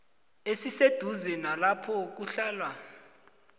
esiseduze nalapho kuhlala